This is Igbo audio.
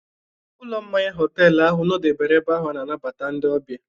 Ụlọ mmanya họtelu ahụ nọdebere ebe ahụ ana-anbata ndị ọbịa.